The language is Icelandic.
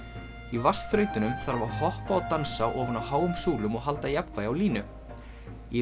í þarf að hoppa og dansa ofan á háum súlum og halda jafnvægi á línu í